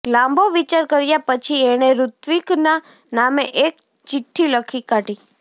લાંબો વિચાર કર્યા પછી એણે ઋત્વિકના નામે એક ચિઠ્ઠી લખી કાઢી